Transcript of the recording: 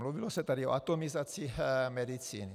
Mluvilo se tady o atomizaci medicíny.